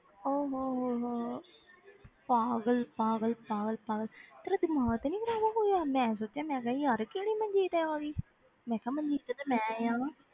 ਓਹ ਹੋ ਹੋ ਹੋ ਪਾਗਲ ਪਾਗਲ ਪਾਗਲ ਪਾਗਲ ਤੇਰਾ ਦਿਮਾਗ ਤੇ ਨੀ ਖ਼ਰਾਬ ਹੋ ਗਿਆ, ਮੈਂ ਸੋਚਿਆ ਮੈਂ ਕਿਹਾ ਯਾਰ ਕਿਹੜੀ ਮਨਜੀਤ ਹੋਈ ਮੈਂ ਕਿਹਾ ਮਨਜੀਤ ਤੇ ਮੈਂ ਹਾਂ।